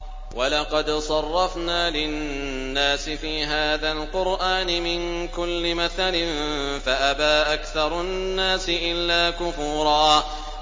وَلَقَدْ صَرَّفْنَا لِلنَّاسِ فِي هَٰذَا الْقُرْآنِ مِن كُلِّ مَثَلٍ فَأَبَىٰ أَكْثَرُ النَّاسِ إِلَّا كُفُورًا